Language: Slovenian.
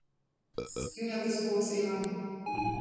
Se strinjate s to oceno?